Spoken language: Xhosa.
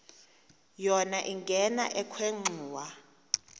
yona ingena ekhwenxua